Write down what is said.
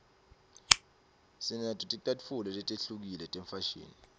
sinato ticatfulo letihlukile tefashini